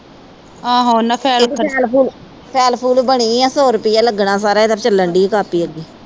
ਫਾਈਲ-ਫੁਲ ਬਣੀ ਆ, ਸੌ ਰੁਪਇਆ ਲੱਗਣਾ ਸਾਰਾ, ਇਹਦੀ ਚਲਣ ਦਈ ਆ ਕਾਪੀ ਅੱਗੇ।